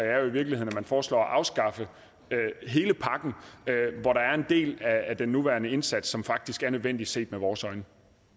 er jo i virkeligheden at man foreslår at afskaffe hele pakken hvor der er en del af den nuværende indsats som faktisk er nødvendig set med vores øjne